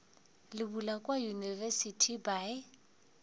le bula kua university by